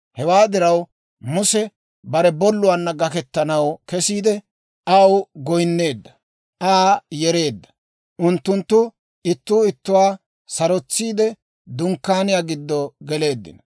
Hewaa diraw, Muse bare bolluwaanna gakettanaw kesiide, aw goynneedda, Aa yereedda. Unttunttu ittuu ittuwaa sarotsiide, dunkkaaniyaa giddo geleeddino.